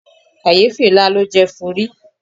Kàyéfì ńlá ló jẹ́ fún ri.